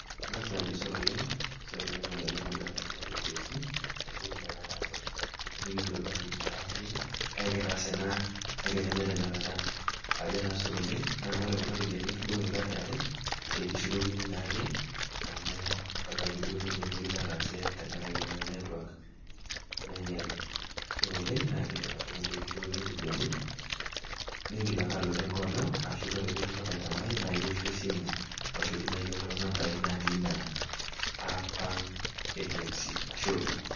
Ang'as taa ajo sore oleng, sore olainyang'ani lang lolduka le KFC te ntoki naa nataase. Mekiyiolo duo ajo keidim ataasai ina kake etaase naa kake me tenyorrata aang. Ajo taa sore oleng, naa ore kuna rupiani nikitudung'oki kat e are, ke kishukokini naa ake amu ebaiki duo netii entoki nataasa tenkarake network nainyale. Sore oleng naa indim ashomo ntee kishukokini iropiani ningil ake alotu ai olong ashu ore pee kintoki aitamai naa ioshu esimu aoshoki naa iyook too nambai natii ina app ang e KFC, ashe oleng.